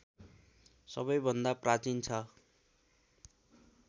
सबैभन्दा प्राचीन छ